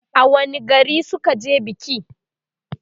a wani gari suka je biki?